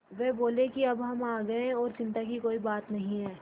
वे बोले कि अब हम आ गए हैं और चिन्ता की कोई बात नहीं है